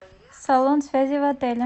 салон связи в отеле